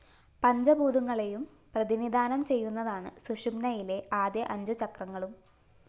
പഞ്ചഭൂതങ്ങളെയും പ്രതിനിധാനം ചെയ്യുന്നതാണ് സുഷുമ്‌നയിലെ ആദ്യ അഞ്ചു ചക്രാകളും